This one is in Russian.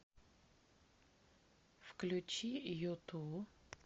включи юту